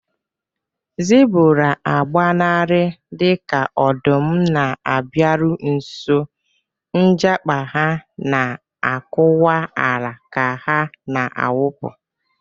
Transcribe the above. Zebura agbanarị dika ọdụm na-abịaru nso, njakpa ha na-akụkwa ala ka ha na-awụpụ.